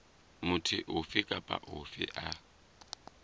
motho ofe kapa ofe a